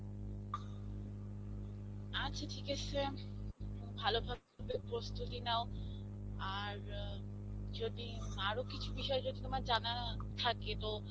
আচ্ছা ঠিক আসে. ভালো ভাবে প্রস্তুতি নাও. আর যদি আরো কিছু বিষয়ে যদি তোমার জানার থাকে তো